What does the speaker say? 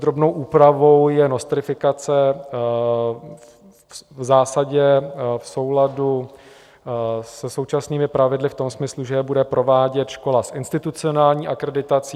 Drobnou úpravou je nostrifikace v zásadě v souladu se současnými pravidly v tom smyslu, že je bude provádět škola s institucionální akreditací.